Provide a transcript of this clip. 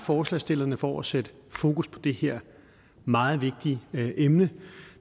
forslagsstillerne for at sætte fokus på det her meget vigtige emne